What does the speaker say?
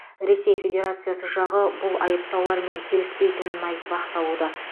ресей федерациясы жағы бұл айыптаулармен келіспейтінін айтып ақталуда